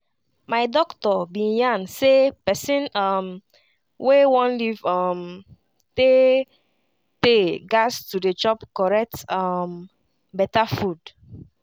my doctor bin yarn say pesin um wey one live um tey-tey gas to dey chop correct um beta food